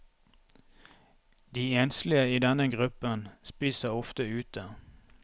De enslige i denne gruppen spiser ofte ute.